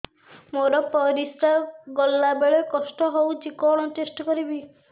ମୋର ପରିସ୍ରା ଗଲାବେଳେ କଷ୍ଟ ହଉଚି କଣ ଟେଷ୍ଟ କରିବି